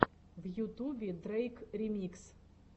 в ютубе дрейк ремикс